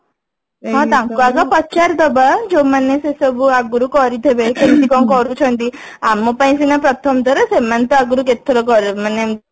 ହଁ ତାଙ୍କୁ ଆଗ ପଚାରିଦବା ଯୋଉ ମାନେ ସେସବୁ ଆଗରୁ କରିଥିବେ କେମିତି କଣ କରୁଛନ୍ତି ଆମ ପାଇଁ ସିନା ପ୍ରଥମ ଥର ସେମାନେ ତ ଆଗରୁ କେତେଥର ମାନେ